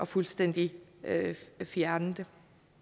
fuldstændig at fjerne det